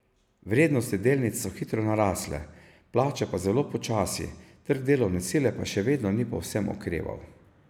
Vrednosti delnic so hitro narasle, plače pa zelo počasi, trg delovne sile pa še vedno ni povsem okreval.